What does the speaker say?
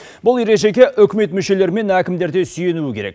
бұл ережеге үкімет мүшелері мен әкімдер де сүйенуі керек